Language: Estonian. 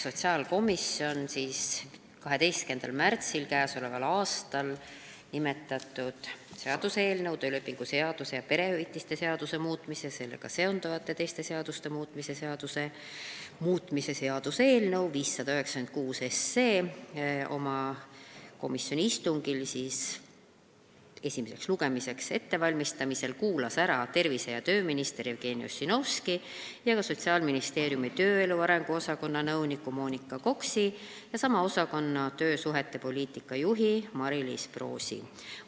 Sotsiaalkomisjon valmistas 12. märtsil nimetatud seaduseelnõu, töölepingu seaduse ning perehüvitiste seaduse muutmise ja sellega seonduvalt teiste seaduste muutmise seaduse muutmise seaduse eelnõu 596 oma istungil ette esimeseks lugemiseks ning kuulas ära tervise- ja tööminister Jevgeni Ossinovski, Sotsiaalministeeriumi tööelu arengu osakonna nõuniku Monika Koksi ja sama osakonna töösuhete poliitika juhi Mariliis Proosi.